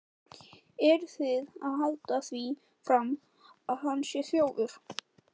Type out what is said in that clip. Eruð þið að halda því fram að hann sé þjófur!